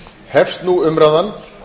hefst nú umræðan